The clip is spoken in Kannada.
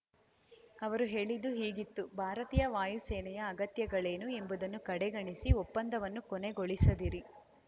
ಅವರು ಹೇಳಿದ್ದು ಹೀಗಿತ್ತು ಭಾರತೀಯ ವಾಯುಸೇನೆಯ ಅಗತ್ಯಗಳೇನು ಎಂಬುದನ್ನು ಕಡೆಗಣಿಸಿ ಒಪ್ಪಂದವನ್ನು ಕೊನೆಗೊಳಿಸಿದಿರಿ